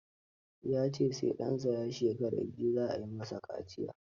Ya ce sai ɗansa ya shekara biyu, za a yi masa kaciya.